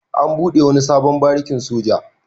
An buɗe wani sabon barikin soja.